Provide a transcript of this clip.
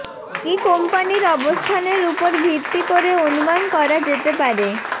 কি কোম্পানীর অবস্থানের উপর ভিত্তি করে অনুমান করা যেতে পারে